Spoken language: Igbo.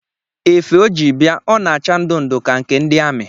Efe ọ ji bịa ọ na-acha ndu ndu ka nke ndị ami?